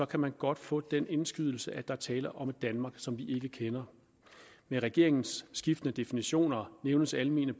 kan man godt få den indskydelse at der er tale om et danmark som vi ikke kender med regeringens skiftende definitioner nævnes almene